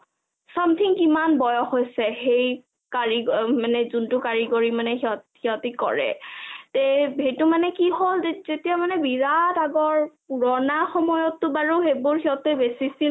something কিমান বয়স হৈছে হেই কাৰিক যোনটো কাৰিকৰি মানে সিহঁতি কৰে তে সেইটো মানে কি হল যেতিয়া বিৰাত আগৰ পুৰণা সময়টো বাৰু সেইবোৰ সিহঁতে বেছিটিল কিবা কে